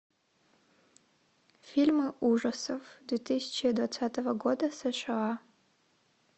фильмы ужасов две тысячи двадцатого года сша